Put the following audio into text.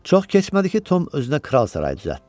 Çox keçmədi ki, Tom özünə kral sarayı düzəltdi.